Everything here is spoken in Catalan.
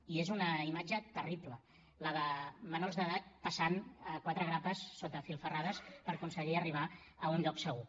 i és una imatge terrible la de menors d’edat passant a quatre grapes sota filferrades per aconseguir arribar a un lloc segur